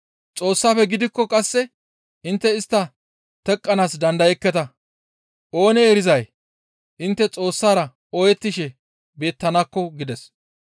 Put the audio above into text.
Xoossafe gidikko qasse intte istta teqqanaas dandayekketa; oonee erizay intte Xoossara ooyettishe beettanakko» gides.